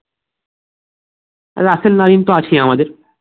Rasel Narine তো আছে আমাদের